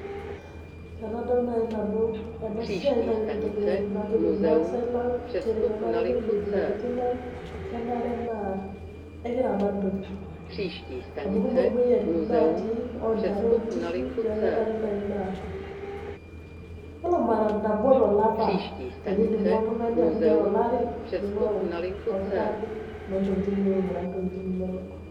Enadol nai nanu enasia na ore entoki naidim najoki rmasaai lang na kenare na ekiramat ntokitin amu kekumok moyiaritin natii ontare onkishu neaku kekumok neaku kenare nai na ore mara nabo tolapa tenindimua oltungani ashu nye tolari niata orkirati lontokitin pilotu ainguraa ntokitin inonok.